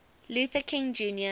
luther king jr